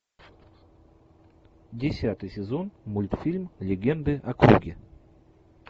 десятый сезон мультфильм легенды о круге